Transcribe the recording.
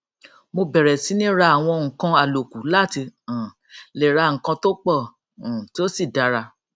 mo bẹrẹ síní ra àwọn nǹkan àlòkù láti um lè ra nǹkan tó pọ um tí ó sì dára